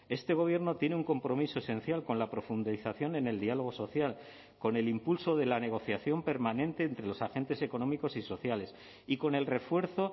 este gobierno tiene un compromiso esencial con la profundización en el diálogo social con el impulso de la negociación permanente entre los agentes económicos y sociales y con el refuerzo